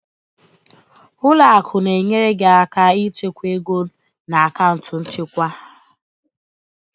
Ụlọ akụ na-enyere gị aka ịchekwa ego na akaụntụ nchekwa ha.